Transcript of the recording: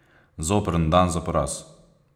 Zoprn dan za poraz.